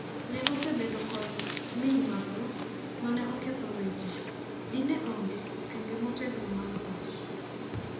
Ne osebedo kod ming mathoth ,mane oketho weche ,di ne onge okenge motegno mar loch.